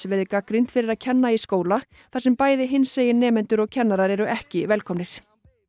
verið gagnrýnd fyrir að kenna í skóla þar sem bæði hinsegin nemendur og kennarar eru ekki velkomnir